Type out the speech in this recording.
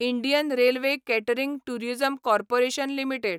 Indian Railway Catering Tourism Corporation limited